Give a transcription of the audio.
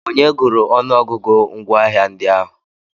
Onye gụrụ ọnụọgụgụ ngwaahịa ndị ahụ?